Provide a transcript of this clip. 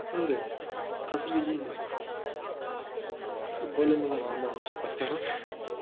андай қазірге дейін более менее нормально шығады деп ойлаймын